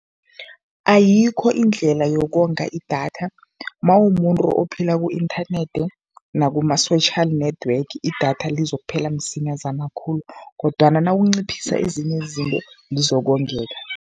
Ayikho indlela yokonga idatha. Mawumumuntu ophila ku-inthanethi nakuma-social network idatha lizokuphela msinyazana khulu kodwana nawunciphisa ezinye izinto, lizokongeka.